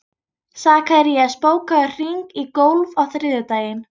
Sakarías, bókaðu hring í golf á þriðjudaginn.